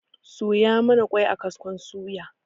Soya mana ƙwai a kaskon suya